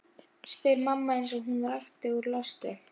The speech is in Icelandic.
Þeir líta á hann sem nokkurs konar samnefnara sinn.